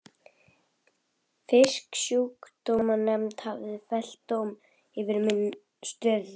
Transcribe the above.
Fisksjúkdómanefnd hafði fellt dóm yfir stöð minni.